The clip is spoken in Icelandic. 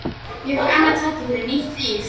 Ég fékk annað tækifæri, nýtt líf.